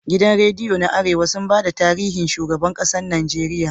Gidan rediyo na arewa sun bada tarihin shigaban ƙasar nageria